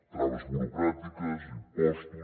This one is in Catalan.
traves burocràtiques impostos